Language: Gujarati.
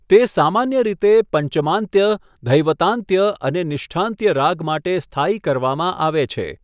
તે સામાન્ય રીતે પંચમાંત્ય, ધૈવતાંત્ય અને નિષ્ઠાંત્ય રાગ માટે સ્થાયી કરવામાં આવે છે.